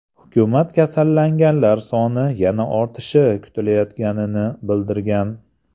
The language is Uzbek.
Hukumat kasallanganlar soni yana ortishi kutilayotganini bildirgan .